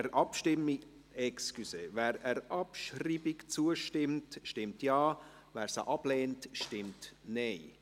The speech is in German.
Wer der Abschreibung zustimmt, stimmt Ja, wer diese ablehnt, stimmt Nein.